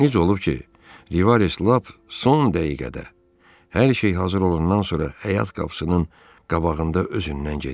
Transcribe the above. Necə olub ki, Livares lap son dəqiqədə hər şey hazır olandan sonra həyat qapısının qabağında özündən gedib.